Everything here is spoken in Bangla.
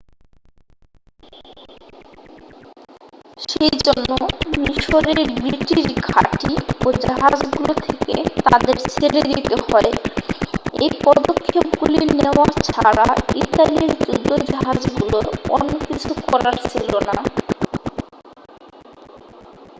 সেই জন্য মিশরের ব্রিটিশ ঘাঁটি ও জাহাজগুলো থেকে তাদের ছেড়ে দিতে হয় এই পদক্ষেপগুলি নেওয়া ছাড়া ইতালির যুদ্ধজাহাজগুলোর অন্য কিছু করার ছিল না